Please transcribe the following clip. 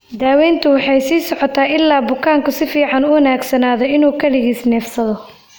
Daaweyntu way sii socotaa ilaa bukaanku si fiican u wanaagsanaado inuu kaligiis neefsado.